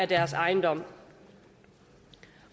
deres ejendom